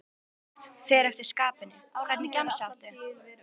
Allt mögulegt, fer eftir skapinu Hvernig gemsa áttu?